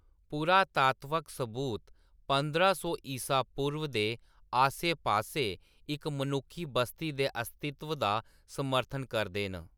पुरातात्वक सबूत पंदरां सौ ईसा पूर्व दे आस्सै पास्सै इक मनुक्खी बस्ती दे अस्तित्व दा समर्थन करदे न।